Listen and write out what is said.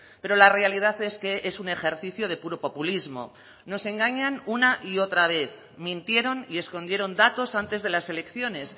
pero la realidad es que es un ejercicio de puro populismo nos engañan una y otra vez mintieron y escondieron datos antes de las elecciones